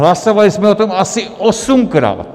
Hlasovali jsme o tom asi osmkrát!